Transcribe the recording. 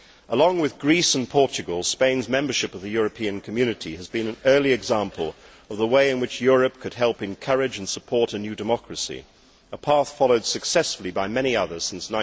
Along with Greece and Portugal, Spain's membership of the European Community was an early example of the way in which Europe could help encourage and support a new democracy a path followed successfully by many others since